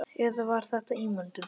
Eða var þetta ímyndun?